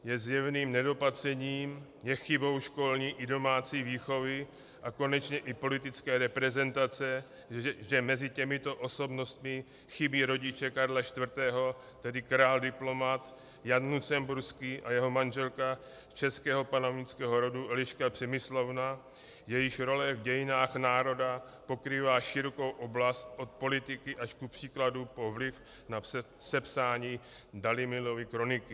Je zjevným nedopatřením, je chybou školní i domácí výchovy a konečně i politické reprezentace, že mezi těmito osobnostmi chybí rodiče Karla IV., tedy král diplomat Jan Lucemburský a jeho manželka z českého panovnického rodu Eliška Přemyslovna, jejíž role v dějinách národa pokrývá širokou oblast od politiky až kupříkladu po vliv na sepsání Dalimilovy kroniky.